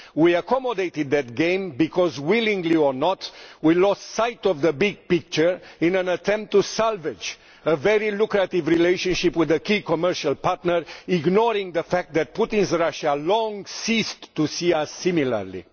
We accommodated that game because, willingly or not, we lost sight of the big picture in an attempt to salvage a very lucrative relationship with a key commercial partner, ignoring the fact that Putin's Russia long since ceased to see us similarly.